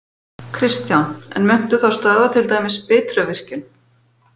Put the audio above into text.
Kristján: En muntu þá stöðva til dæmis Bitruvirkjun?